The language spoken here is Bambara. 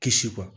Kisi bɔ